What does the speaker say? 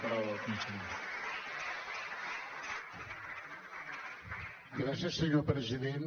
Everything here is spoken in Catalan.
gràcies senyor president